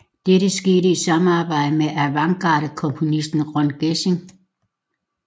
Dette skete i samarbejde med avantgardekomponisten Ron Geesin